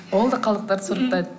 ол да қалдықтарды сұрыптайды